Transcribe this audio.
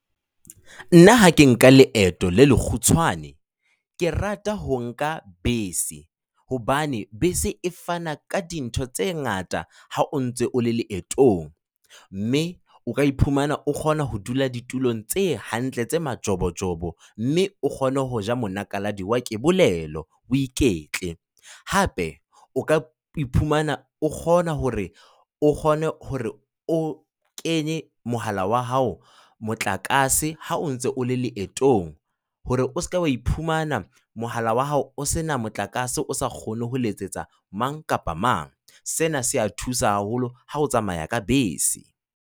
Nna ha ke nka leeto le le kgutshwane, ke rata ho nka bese. Hobane bese e fana ka dintho tse ngata ha o ntse o le leetong. Mme o ka iphumana o kgona ho dula ditulong tse hantle tse majobojobo, mme o kgone ho ja monakaladi wa kebolelo, o iketle, hape o ka iphumana o kgona hore o kgone hore o kenye mohala wa hao motlakase ha o ntse o le leetong hore o seka wa iphumana mohala wa hao o sena motlakase o sa kgone ho letsetsa mang kapa mang. Sena sea thusa haholo ha o tsamaya ka bese.